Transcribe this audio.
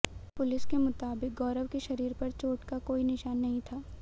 police के मुताबिक गौरव के शरीर पर चोट का कोई निशान नहीं था